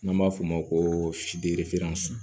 N'an b'a f'o ma ko